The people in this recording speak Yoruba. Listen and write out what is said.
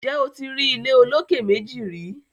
Ǹjẹ́ o ti rí ilé olókè méjì rìí